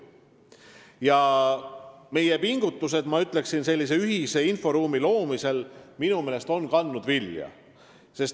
Ma ütleksin, et meie pingutused ühise inforuumi loomisel on vilja kandnud.